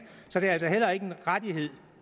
så det er altså heller ikke en rettighed